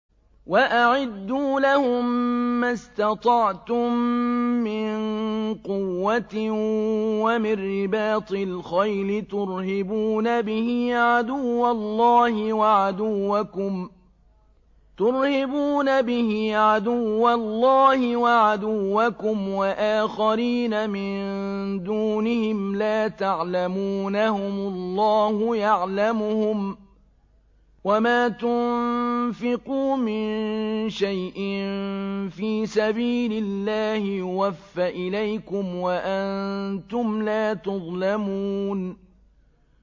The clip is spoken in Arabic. وَأَعِدُّوا لَهُم مَّا اسْتَطَعْتُم مِّن قُوَّةٍ وَمِن رِّبَاطِ الْخَيْلِ تُرْهِبُونَ بِهِ عَدُوَّ اللَّهِ وَعَدُوَّكُمْ وَآخَرِينَ مِن دُونِهِمْ لَا تَعْلَمُونَهُمُ اللَّهُ يَعْلَمُهُمْ ۚ وَمَا تُنفِقُوا مِن شَيْءٍ فِي سَبِيلِ اللَّهِ يُوَفَّ إِلَيْكُمْ وَأَنتُمْ لَا تُظْلَمُونَ